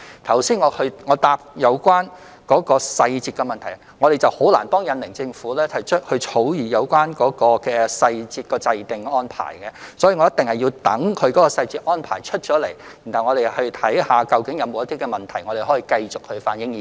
關於剛才的答覆提及的實施細節問題，我們難以向印尼政府提出如何草擬實施細節的安排，故此我們一定要待他們公布細節安排後，才能檢視究竟有否問題，然後反映意見。